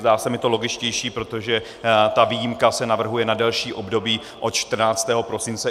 Zdá se mi to logičtější, protože ta výjimka se navrhuje na delší období, od 14. prosince.